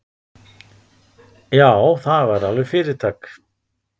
Já, það væri alveg fyrirtak.